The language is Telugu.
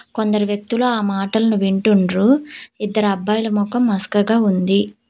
కొందరు వ్యక్తిలు ఆ మాటలను వింటుండ్రు ఇద్దరు అబ్బాయిలు మొకం మసకగా ఉంది.